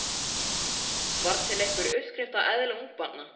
Var til einhver uppskrift að eðli ungabarna?